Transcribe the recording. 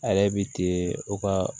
A yɛrɛ bi ten u ka